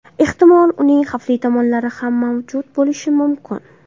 Ehtimol, uning xavfli tomonlari ham mavjud bo‘lishi mumkin.